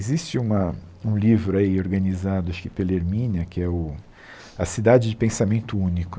Existe uma um livro aí organizado, acho que pela Ermínia, que é o... A Cidade de Pensamento Único,